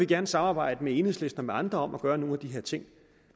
gerne samarbejde med enhedslisten og med andre om at gøre nogle af de her ting